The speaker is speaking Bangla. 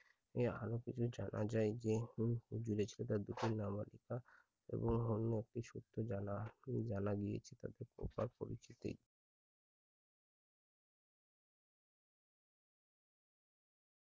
আরো কিছু জানা যাই যে হুম নামচিকা এবং অন্য একই সূত্রে জানা গিয়েছিলো খোকা পরিচিতি।